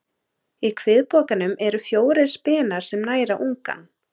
Í kviðpokanum eru fjórir spenar sem næra ungann.